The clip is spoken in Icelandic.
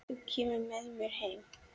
Þá kemurðu með mér heim.